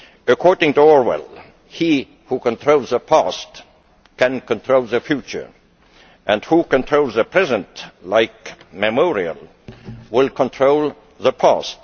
According to Orwell, he who controls the past can control the future, and he who controls the present like Memorial will control the past.